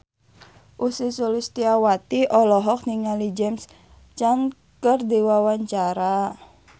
Ussy Sulistyawati olohok ningali James Caan keur diwawancara